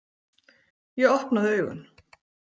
Ég opnaði augun.